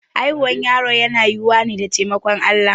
Haihuwar yaro na yiwuwa ne da taimakon Allah.